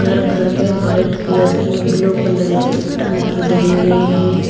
घर घर पे व्हाइट कलर की ब्लू कलर की टंकी धरी हुई है।